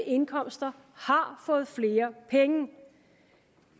indkomster har fået flere penge